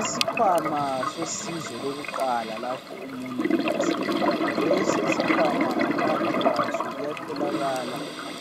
Isikhwama sosizo lokuqala lapho umuntu eselimele. Lesi isikhwama ngaphakathi kwaso kuyatholakala